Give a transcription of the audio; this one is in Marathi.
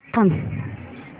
थांब